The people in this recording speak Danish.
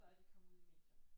Før de kom ud i medierne